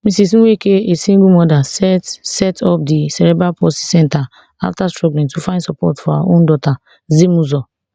ms nweke a single mother set set up di cerebral palsy centre after struggling to find support for her own daughter zimuzo